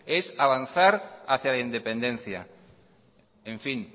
es avanzar hacia la independencia en fin